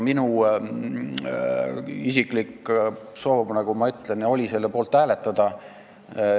Minu isiklik soov, nagu ma ütlesin, oli selle eelnõu poolt hääletada.